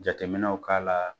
Jateminɛw k'a la